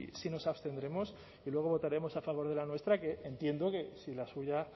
sí nos abstendremos y luego votaremos a favor de la nuestra que entiendo que si la suya